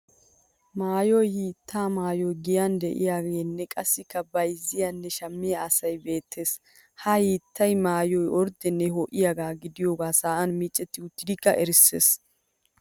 Maayiyo hiitta maayoy giyan de'iyaageenne qassikka bayyzziyaanne shammiya asay beettes. Ha hiitta maayoy orddene ho'iyaagaa gidiyoogaa sa'an micetti uttidikka erisses.